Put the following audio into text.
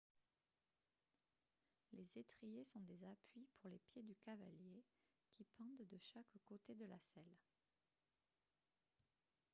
les étriers sont des appuis pour les pieds du cavalier qui pendent de chaque côté de la selle